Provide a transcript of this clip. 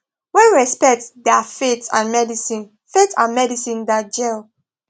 when respect da faith and medicine faith and medicine da jell